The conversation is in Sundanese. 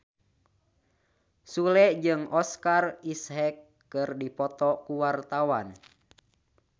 Sule jeung Oscar Isaac keur dipoto ku wartawan